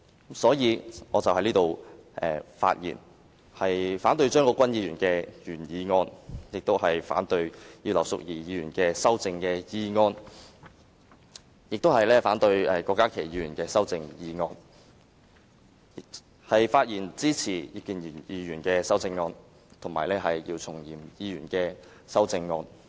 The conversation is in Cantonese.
故此，我反對張國鈞議員的原議案，以及葉劉淑儀議員和郭家麒議員的修正案，並支持葉建源議員和姚松炎議員的修正案。